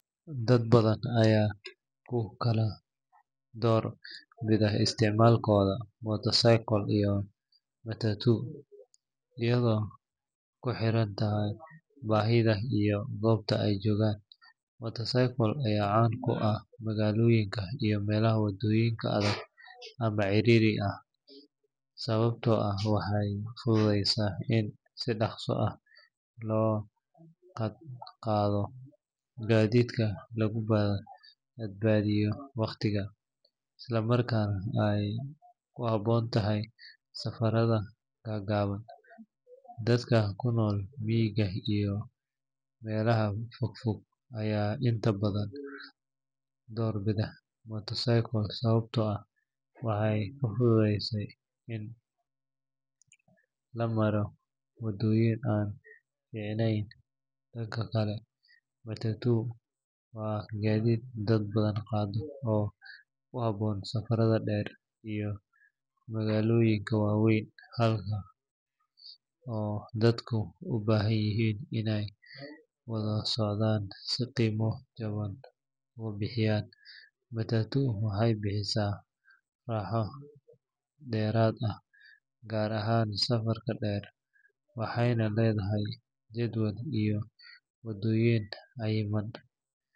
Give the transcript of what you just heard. Dad badan ayaa ku kala door bida isticmaalkooda motorcycle iyo matatu iyadoo ku xiran baahida iyo goobta ay joogaan. Motorcycle ayaa caan ku ah magaalooyinka iyo meelaha waddooyinka adag ama ciriiriga ah, sababtoo ah waxay fududeysa in si dhakhso ah loo dhaqdhaqaaqo, gaadiidka lagu badbaadiyo waqtiga, isla markaana ay ku habboon tahay safarada gaagaaban. Dadka ku nool miyiga iyo meelo fogfog ayaa inta badan door bida motorcycle sababtoo ah waxay ka fududahay in la maro waddooyin aan fiicanayn. Dhanka kale, matatu waa gaadiid dad badan qaada oo ku habboon safarada dheer iyo magaalooyinka waaweyn halkaas oo dadku u baahan yihiin inay wada socdaan si qiimo jaban uga bixiyaan. Matatu waxay bixisaa raaxo dheeraad ah, gaar ahaan safarka dheer, waxayna leedahay jadwal iyo waddooyin cayiman.